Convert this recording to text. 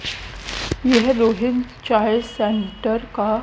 यह रोहित चाहे सेण्टर का--